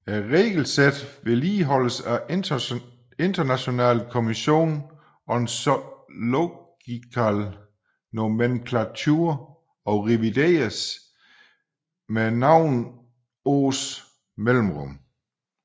Regelsættet vedligeholdes af International Commission on Zoological Nomenclature og revideres med nogle års mellemrum